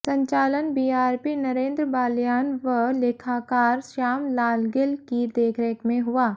संचालन बीआरपी नरेंद्र बाल्यान व लेखाकार श्याम लाल गिल की देखरेख में हुआ